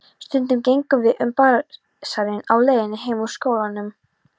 Stundum gengum við um basarinn á leiðinni heim úr skólanum.